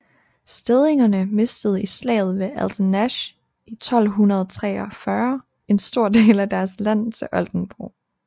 Stedingerne mistede i slaget ved Altenesch 1234 en stor del af deres land til Oldenborg